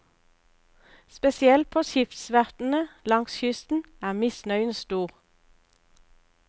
Spesielt på skipsverftene langs kysten er misnøyen stor.